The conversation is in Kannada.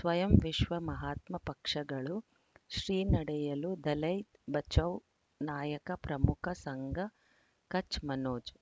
ಸ್ವಯಂ ವಿಶ್ವ ಮಹಾತ್ಮ ಪಕ್ಷಗಳು ಶ್ರೀ ನಡೆಯಲು ದಲೈ ಬಚೌ ನಾಯಕ ಪ್ರಮುಖ ಸಂಘ ಕಚ್ ಮನೋಜ್